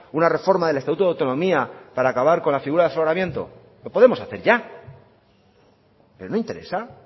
una reforma del estatuto de autonomía para acabar con la figura del aforamiento lo podemos hacer ya pero no interesa